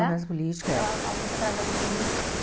né? É uma peça política, é. É a única tragédia política.